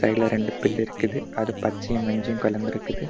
சைடுல ரெண்டு பில்லு இருக்குது அது பச்சையூ மஞ்சையு கலந்திருக்குது.